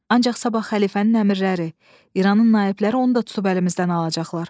Ancaq sabah xəlifənin əmrləri, İranın naibləri onu da tutub əlimizdən alacaqlar.